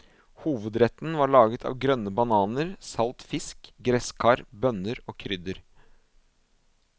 Hovedretten var laget av grønne bananer, salt fisk, gresskar, bønner og krydder.